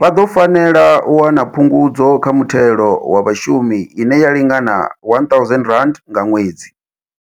vha ḓo fanela u wana Phungudzo kha Muthelo wa Vhashumi ine ya lingana R1 000 nga ṅwedzi.